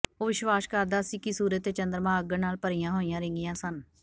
ਉਹ ਵਿਸ਼ਵਾਸ ਕਰਦਾ ਸੀ ਕਿ ਸੂਰਜ ਅਤੇ ਚੰਦਰਮਾ ਅੱਗ ਨਾਲ ਭਰੀਆਂ ਹੋਈਆਂ ਰਿੰਗੀਆਂ ਸਨ